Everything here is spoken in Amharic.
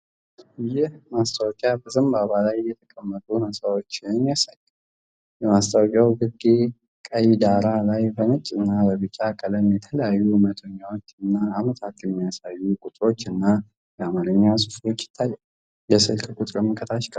ይህ ማስታወቂያ በዘንባባ ላይ የተቀመጡ ሕንጻዎችን ያሳያል። በማስታወቂያው ግርጌ፣ ቀይ ዳራ ላይ በነጭ እና ቢጫ ቀለም የተለያዩ መቶኛዎችና ዓመታት የሚያሳዩ ቁጥሮች እና የአማርኛ ጽሑፎች ይታያሉ። የስልክ ቁጥርም ከታች ቀርቧል።